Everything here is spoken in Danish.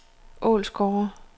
Ålsgårde